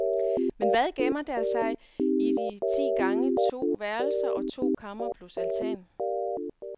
Men hvad gemmer der sig i de ti gange to værelser og to kamre plus altan.